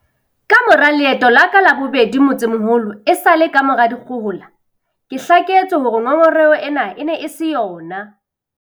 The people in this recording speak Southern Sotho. Kamora leeto la ka la bobedi motsemoholo esale kamora dikgohola, ke hlaketswe hore ngongoreho ena e ne e se yona.